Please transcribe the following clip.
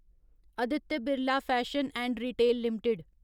Aditya Birla fashion and retail limited